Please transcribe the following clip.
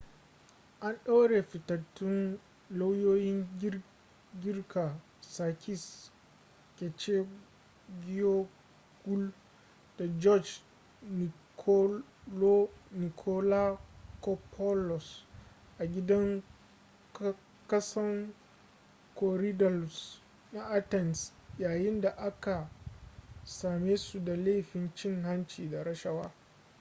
an ɗaure fitattun lauyoyin girka sakis kechagioglou da george nikolakopoulos a gidan kason korydallus na athens yayin da aka same su da laifin cin hanci da rashawa